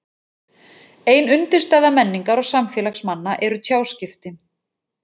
Ein undirstaða menningar og samfélags manna eru tjáskipti.